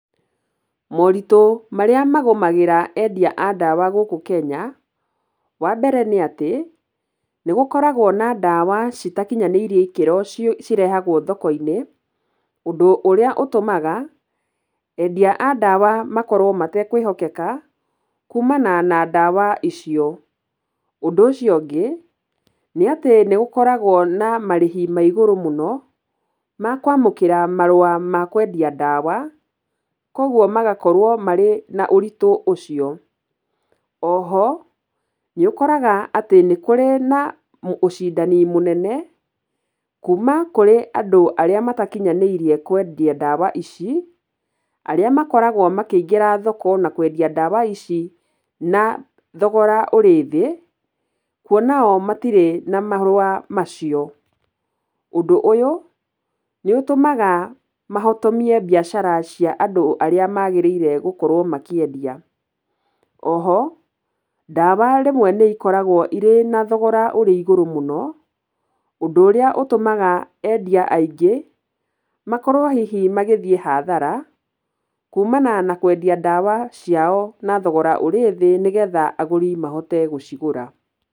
Moritũ marĩa magũmagĩra endia a ndawa gũkũ Kenya, wa mbere nĩ atĩ, nĩgũkoragwo na ndawa citakinyanĩirie ikĩro, cirehagwo thoko-inĩ, ũndũ ũrĩa ũtũmaga endia a ndawa makorwo matekwĩhokeka, kuumana na ndawa icio. Ũndũ ũcio ũngi, nĩ atĩ nĩgũkoragwo na marĩhi ma igũrũ mũno, ma kwamũkĩra marũa ma kwendia ndawa, koguo magakorwo marĩ na ũritũ ũcio. Oho, nĩũkoraga atĩ nĩkũrĩ na ũcindani mũnene, kuuma kũrĩ andũ arĩa matakinyanĩirie kwendia ndawa ici, arĩa makoragwo makĩingĩra thoko na kwendia ndawa ici na thofgora ũrĩ thĩ, kuona o matirĩ na marũa macio. Ũndũ ũyũ nĩũtũmaga mahotomie mbiacara cia andũ arĩa magĩrĩire gũkorwo makĩendia. Oho, ndawa rĩmwe nĩ ikoragwo irĩ na thogora ũrĩ igũrũ mũno, ũndũ ũrĩa ũtũmaga endia aingĩ makorwo hihi magĩthiĩ hathara, kuumana na kwendia ndawa ciao na thogora ũrĩ thĩ nĩgetha agũri mahote gũcigũra.